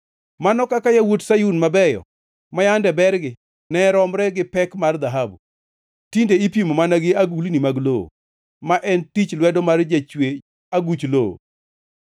Mano kaka yawuot Sayun mabeyo, ma yande bergi ne romre gi pek mar dhahabu, tinde ipimo mana gi agulni mag lowo, ma en tich lwedo mar jachwe aguch lowo!